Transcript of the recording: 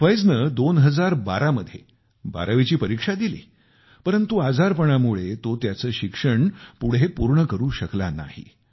फियाजने 2012 मध्ये 12 वीची परीक्षा दिली परंतु आजारपणामुळे तो त्याचे शिक्षण पुढे पूर्ण करू शकला नाही